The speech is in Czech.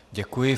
Děkuji.